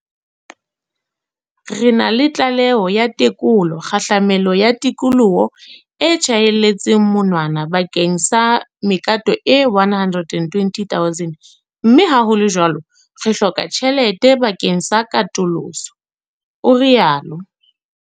"Re na le tlaleho ya tekolo kgahlamelo ya tikoloho e tjhaelletsweng monwana bakeng sa mekato e 120 000 mme ha ho le jwalo re hloka tjhelete bakeng sa katoloso," o rialo.